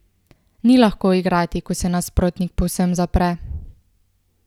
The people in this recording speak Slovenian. Ni lahko igrati, ko se nasprotnik povsem zapre.